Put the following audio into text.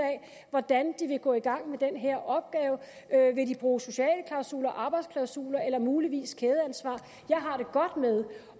hvordan de vil gå i gang med den her opgave vil de bruge sociale klausuler arbejdsklausuler eller muligvis kædeansvar jeg har det godt med